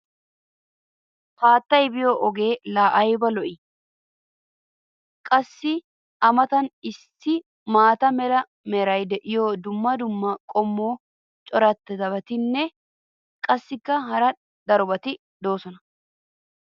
haaattay biyo ogee laa ayba lo'ii? qassi a matan issi maata mala meray diyo dumma dumma qommo corabatinne qassikka hara darobatti doosona.